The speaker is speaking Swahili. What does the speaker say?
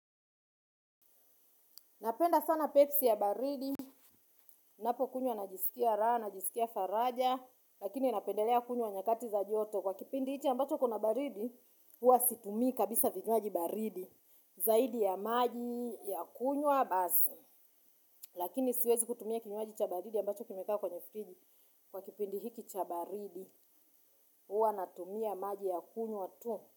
Napenda sana pepsi ya baridi, ninapokunywa najisikia raha, najisikia faraja, lakini napendelea kunywa nyakati za joto. Kwa kipindi hichi ambacho kuna baridi, huwa situmii kabisa vinywaji baridi, zaidi ya maji ya kunywa basi. Lakini siwezi kutumia kinywaji cha baridi ambacho kimekaa kwenye fridge. Kwa kipindi hiki cha baridi, huwa natumia maji ya kunywa tu.